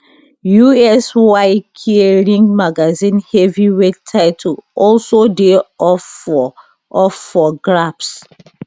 usyk ring magazine heavyweight title also dey up for up for grabs